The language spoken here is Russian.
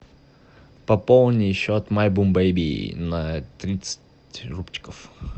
пополни счет май бум бэйби на тридцать рубчиков